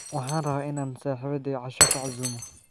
Waxaan rabaa in aan saaxiibaday casho ku casuumo.